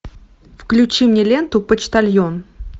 включи мне ленту почтальон